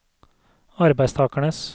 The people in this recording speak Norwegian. arbeidstakernes